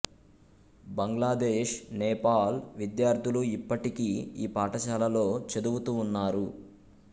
బంగ్లాదేశ్ నేపాల్ విద్యార్థులు ఇప్పటికి ఈ పాఠశాలలో చదువుతూ ఉన్నారు